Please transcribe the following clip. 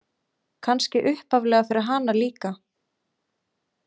Kannski upphaflega fyrir hana líka.